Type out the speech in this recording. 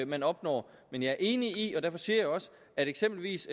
man opnår men jeg er enig i eksempelvis